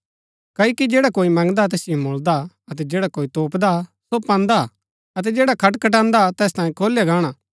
क्ओकि जैडा कोई मंगदा तैसिओ मुळदा अतै जैडा कोई तोपदा सो पान्दा अतै जैडा खटखटान्दा तैस तांयें खोलया गाणा